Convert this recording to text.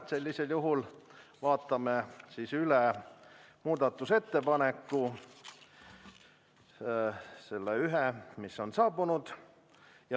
Sellisel juhul vaatame üle muudatusettepaneku, selle ühe, mis on saabunud.